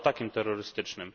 atakiem terrorystycznym.